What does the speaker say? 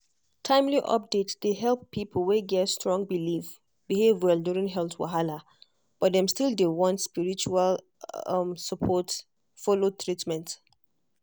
timely update dey help people wey get strong belief behave well during health wahala but dem still dey want spiritual support follow treatment.